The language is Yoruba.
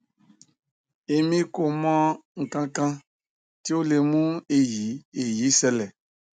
emi ko mo ikan kan ti o le mu eyi eyi sele